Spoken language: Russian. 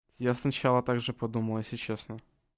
я сначала так же подумал если честно